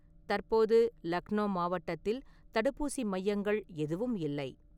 தற்போது லக்னோ மாவட்டத்தில் தடுப்பூசி மையங்கள் எதுவும் இல்லை.